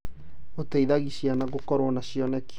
Gũteithagia ciana gũkorwo na cioneki.